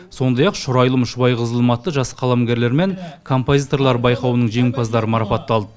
сондай ақ шұрайлым шұбай қызылым атты жас қаламгерлер мен композиторлар байқауының жеңімпаздары марапатталды